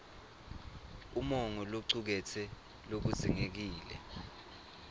umongo locuketse lokudzingekile